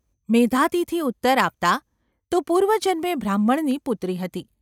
મેધાતિથિ ઉત્તર આપતા : તું પૂર્વજન્મે બ્રાહ્મણની પુત્રી હતી.